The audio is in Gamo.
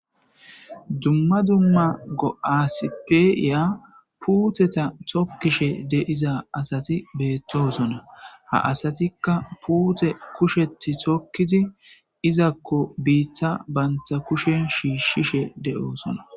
Dumma dumma go7aasipeya puuteta tokkishe de7iza asati beettosona ha asatikka puute kushetti thokkizi izakko biitta baynta kushen shiishshishe de7oosona.